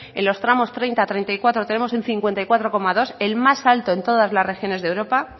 en los tramos treinta treinta y cuatro tenemos un cincuenta y cuatro coma dos el más alto en todas las regiones de europa